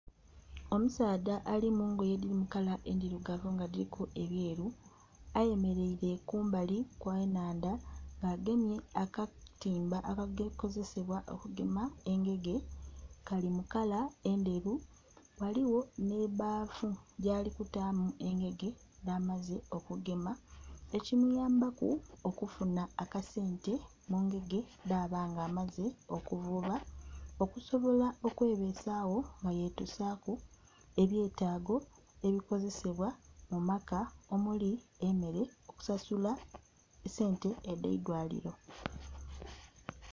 Omusaadha ali mungoye edhiri mu kala endhirugavu nga dhiriku ebyeeru, aye mereire kumbali kwe nhandha nga agemye akatimba aka kozesebwa okugema engege kali mu kala endheru ghaligho ne'bbafu gyali kutaamu engege dhamaze okugema eki muyambaku okufuna akasente mu ngege dhaba nga amaze okuvuba okusobola okwe besaagho nga ye tusaku ebyetaago ebikozesebwa mu maka , omuli emeere, okusasula esente edhe'lwaliro.